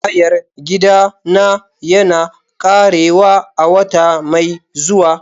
Hayar gidana yana ƙarewa a wata mai zuwa.